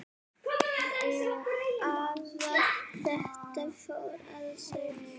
Eða þetta fór að stækka.